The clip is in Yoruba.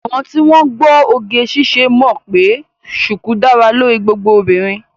Àwọn tí wọ́n gbọ́ oge ṣíṣe mọ̀ pé ṣùkú dára lórí gbogbo obìnrin